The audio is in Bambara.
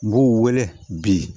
N b'u wele bi